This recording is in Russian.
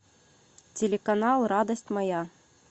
телеканал радость моя